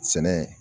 Sɛnɛ